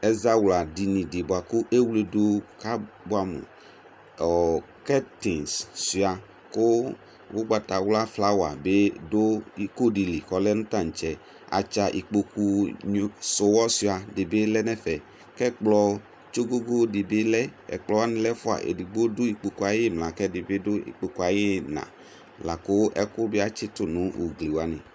Azawladini di buakʋ ewledu kabuamuƆɔɔ kɛtings suia , kʋ ugbatawla flawa bi dʋ iko dili kɔlɛ nʋ taŋtsɛ Atsa ikpoku suwɔsuia dibi lɛnɛfɛ Kɛkplɔ tsogogo di bi lɛ Ɛkplɔ wani lɛ ɛfuaEdigbo dʋ ikpokue ayimla, kedigbo bi du ikpokue ayiinaLakʋ ɛkʋ biatsitu nʋ ugliwani